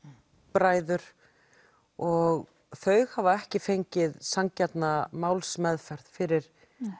bræður og þau hafa ekki fengið sanngjarna málsmeðferð fyrir